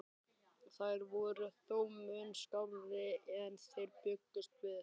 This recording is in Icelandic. Þær voru þó mun skárri en þeir bjuggust við.